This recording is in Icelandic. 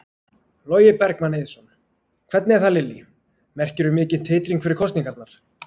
Logi Bergmann Eiðsson: Hvernig er það Lillý, merkirðu mikinn titring fyrir kosningarnar?